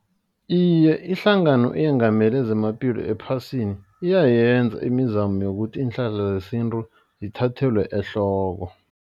Iye, ihlangano eyengamele zamaphilo ephasini. Iyayenza imizamo yokuthi iinhlahla zesintu zithathelwe ehloko.